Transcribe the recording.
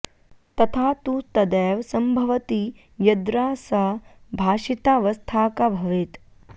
तथा तु तदैव सम्भवति यद्रा सा भाषितावस्थाका भवेत्